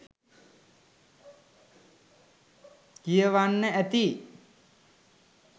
කියවන්න ඇති.